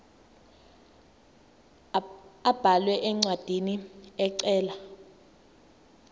abhale incwadi ecela